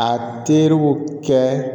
A teriw kɛ